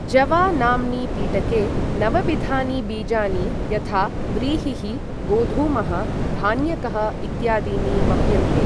जवा नाम्नि पिटके नवविधानि बीजानि, यथा व्रीहिः, गोधूमः, धान्यकः इत्यादीनि वप्यन्ते।